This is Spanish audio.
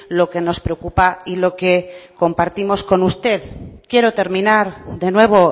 lo que nos preocupa y lo que compartimos con usted quiero terminar de nuevo